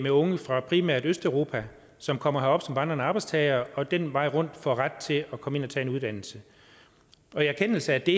unge fra primært østeuropa som kommer herop som vandrende arbejdstagere og ad den vej får ret til at komme ind og tage en uddannelse og i erkendelse af det